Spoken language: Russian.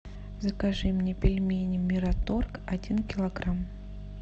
закажи мне пельмени мираторг один килограмм